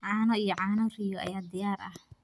Caano iyo caano riyo ayaa diyaar ah.